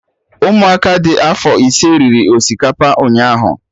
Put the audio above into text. Ụmụ aka dị afọ ise riri osikapa ụnyaahụ